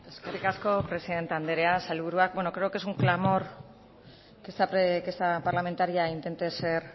eskerrik asko presidente andrea sailburuak bueno creo que es un clamor que esta parlamentaria intente ser